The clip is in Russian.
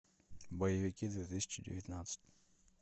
боевики две тысячи девятнадцать